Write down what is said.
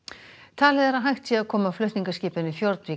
talið er að hægt sé að koma flutningaskipinu Fjordvik